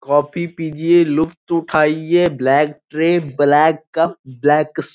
coffee पीजिए लुफ्त उठाइए black tray black cup black --